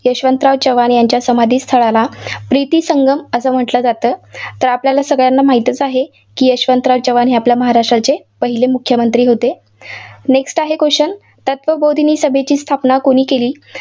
यशवंतराव चव्हाण यांच्या समाधीस्थळाला प्रितिसंगम असं म्हटलं जातं. तर आपल्याला सगळ्यांना माहितीच आहे, यशवंतराव चव्हाण हे आपल्या महाराष्ट्राचे पहिले मुख्यमंत्री होते. next आहे question तत्वबोधीनीची सभेची स्थापना कुणी केली?